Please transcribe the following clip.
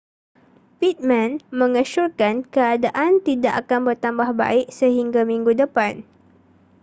pittman mengesyorkan keadaan tidak akan bertambah baik sehingga minggu depan